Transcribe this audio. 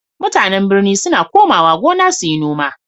MutAnan birni suna komawa gona suyi noma